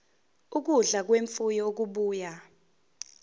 ukudla kwemfuyo okubuya